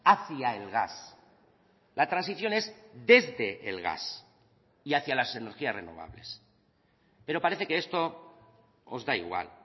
hacia el gas la transición es desde el gas y hacia las energías renovables pero parece que esto os da igual